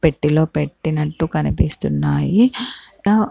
పెట్టి లో పెట్టినట్టు కనిపిస్తున్నాయి ఆ--